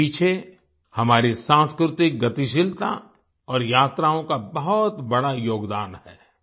इसके पीछे हमारे सांस्कृतिक गतिशीलता और यात्राओं का बहुत बड़ा योगदान है